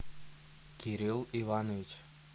кирилл иванович